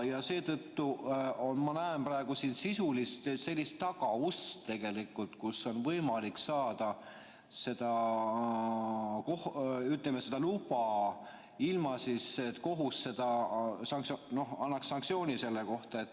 Ja seetõttu ma näen praegu siin sisulist tagaust, kust on võimalik saada seda luba, ilma et kohus annaks sanktsiooni selle kohta.